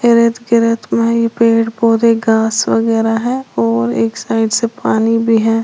के रेत में ये पेड़ पौधे घास वगैरा है और एक साइड से पानी भी है।